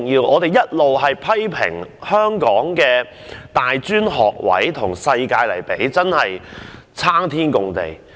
我們一直批評香港的大專學位，與世界其他國家相比真的差天共地。